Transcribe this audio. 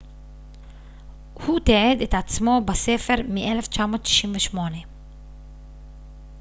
הוא תיעד את עצמו בספר מ-1998